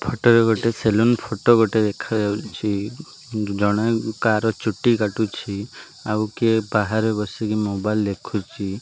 Photo ରେ ଗୋଟେ saloon photo ଗୋଟେ ଦେଖାଯାଉଚି ଜଣେ କାର ଚୁଟି କାଟୁଚି ଆଉ କିଏ ବାହାରେ ବସିକି ମୋବାଇଲ ଦେଖୁଛି।